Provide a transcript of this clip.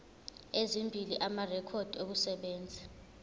ezimbili amarekhodi okusebenza